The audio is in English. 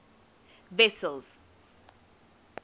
wessels